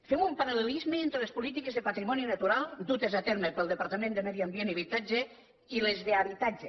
fem un paral·lelisme entre les polítiques de patrimoni natural dutes a terme pel departament de medi ambient i habitatge i les d’habitatge